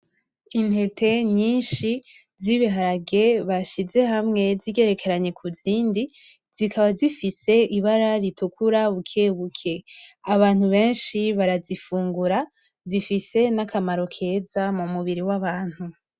Intete nyinshi z'ibiharage bashize hamwe zigerekeranye kuzindi, zikaba zifise ibara ritukura bukebuke. Abantu benshi barazifungura, zifise n'akamaro keza mu mubiri w'abantu.